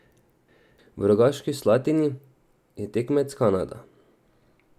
V Rogaški Slatini je tekmec Kanada.